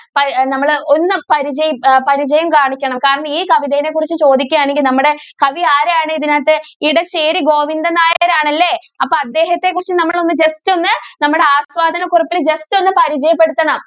നമ്മൾ ഒന്ന് പരിച~പരിചയം കാണിക്കണം കാരണം ഈ കവിതയെ കുറിച്ച് ചോദിക്കുവാണെങ്കിൽ നമ്മുടെ കവി ആരാണ് ഇതിനകത്ത് ഇടശ്ശേരി ഗോവിന്ദൻ നായർ ആണല്ലേ അപ്പൊ അദ്ദേഹത്തെ കുറിച്ച് നമ്മൾ ഒന്ന് ജസ്റ്റ് ഒന്ന് നമ്മുടെ ആസ്വാദന കുറിപ്പിൽ ജസ്റ്റ് ഒന്ന് പരിചയപ്പെടുത്തണം.